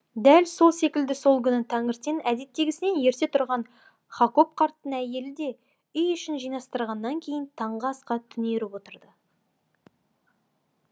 дәл сол секілді сол күні таңертең әдеттегісінен ерте тұрған хакоб қарттың әйелі де үй ішін жинастырғаннан кейін таңғы асқа түнеріп отырды